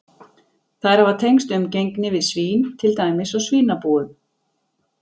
Þær hafa tengst umgengni við svín, til dæmis á svínabúum.